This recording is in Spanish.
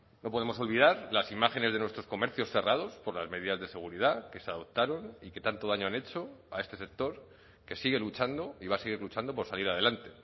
no podemos olvidar las imágenes de nuestros comercios cerrados por las medidas de seguridad que se adoptaron y que tanto daño han hecho a este sector que sigue luchando y va a seguir luchando por salir adelante